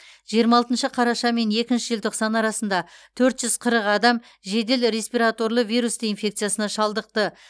жиырма алтыншы қараша мен екінші желтоқсан арасында төрт жүз қырық адам жедел респираторлы вирус инфекциясына шалдықты